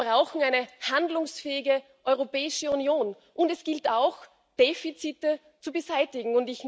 Wir brauchen eine handlungsfähige Europäische Union, und es gilt auch, Defizite zu beseitigen.